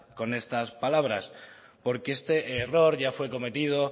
con estas palabras porque este error ya fue cometido